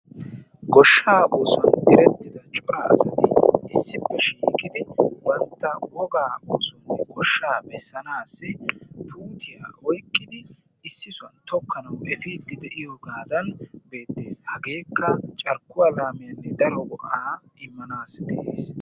goshsha oosuwa erettida cora asati issippe shiiqidi ha asati cadiidi de'iyo koyro tokketidaagee de'iyo koyro go'iya gididi immanaassi go'ess.